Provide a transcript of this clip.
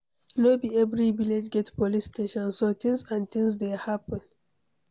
No be every village get police station, so things and things dey happen